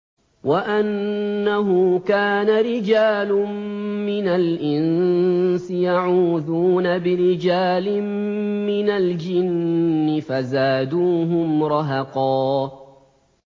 وَأَنَّهُ كَانَ رِجَالٌ مِّنَ الْإِنسِ يَعُوذُونَ بِرِجَالٍ مِّنَ الْجِنِّ فَزَادُوهُمْ رَهَقًا